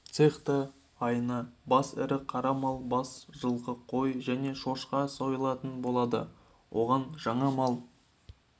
цехта айына бас ірі қара мал бас жылқы қой және шошқа сойылатын болады оған жаңа мал